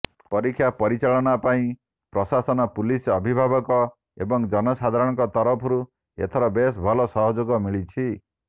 ପରୀକ୍ଷା ପରିଚାଳନା ପାଇଁ ପ୍ରଶାସନ ପୁଲିସ ଅଭିଭାବକ ଏବଂ ଜନସାଧାରଣଙ୍କ ତରଫରୁ ଏଥର ବେଶ୍ ଭଲ ସହଯୋଗ ମିଳିଛି